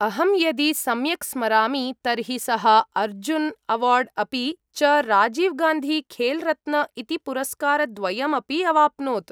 अहं यदि सम्यक् स्मरामि, तर्हि सः अर्जुन् अवार्ड् अपि च राजिव् गान्धी खेल् रत्न इति पुरस्कारद्वयम् अपि अवाप्नोत्।